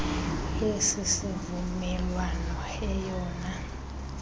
esi sivumelwano eyona